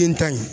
Den ta in